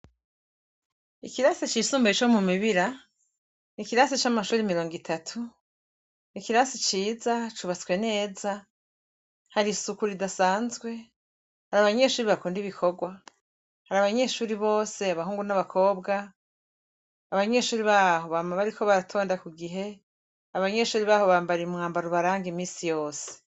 Ikirasi c'isumbuye co mu Mibira, ni ikirasi c'amashure mirongo itatu. Ikirasi ciza, cubatswe neza, hari isuku ridasanzwe, hari abanyeshure bakunda ibikorwa. Hari abanyeshure bose, abahungu n'abakobwa, abanyeshure baho bama bariko baratonda ku gihe, abanyeshure baho bambara umwambaro ubaranga imisi yose.